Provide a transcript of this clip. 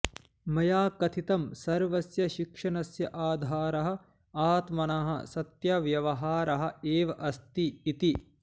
मया कथितं सर्वस्य शिक्षणस्य आधारः आत्मनः सत्यव्यवहारः एव अस्ति इति